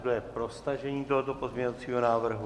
Kdo je pro stažení tohoto pozměňovacího návrhu?